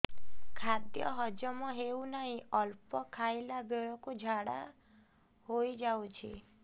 ଖାଦ୍ୟ ହଜମ ହେଉ ନାହିଁ ଅଳ୍ପ ଖାଇଲା ବେଳକୁ ଝାଡ଼ା ହୋଇଯାଉଛି